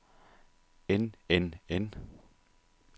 end end end